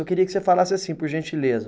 Eu queria que você falasse assim, por gentileza.